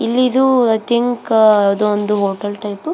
ಇಲ್ಲಿದು I think ಯಾವುದೊ ಒಂದು ಹೋಟೆಲ್ ಟೈಪ್ --